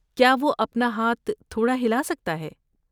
کیا وہ اپنا ہاتھ تھوڑا ہلا سکتا ہے؟